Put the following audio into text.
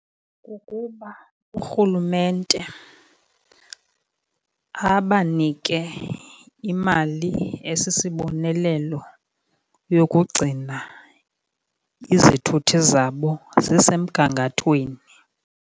Kukuba urhulumente abanike imali esisibonelelo yokugcina izithuthi zabo zisemgangathweni.